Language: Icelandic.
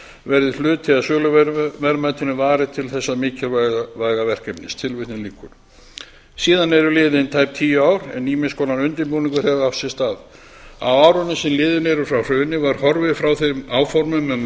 verði hluta af söluverðmætinu varið til þessa mikilvæga verkefnis síðan eru liðin tæp tíu ár en ýmiss konar undirbúningur hefur átt sér stað á árunum sem liðin eru frá hruni var horfið frá fyrri áformum um að